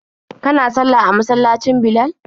Kana sallah a masallacin Bilal?